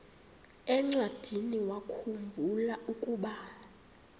encwadiniwakhu mbula ukuba